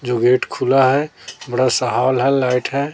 जो गेट खुला है बड़ा सा हाॅल है लाइट है।